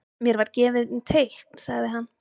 Mér var gefið teikn sagði hann.